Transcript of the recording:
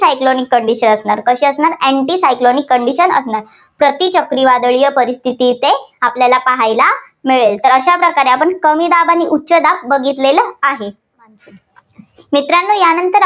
cyclonic condition असणार. कशी असणार anti cyclonic condition असणार. प्रतिचक्रीवादळीय परिस्थिती इथे असणार, आपल्याला पाहायला मिळेल. तर अशा प्रकारे आपण कमी दाब आणि उच्चदाब बघितले आहे. मित्रांनो या नंतर